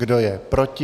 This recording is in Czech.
Kdo je proti?